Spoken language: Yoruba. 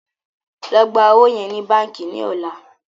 ló gbà ọwo yen ní bánkì ní ọlá!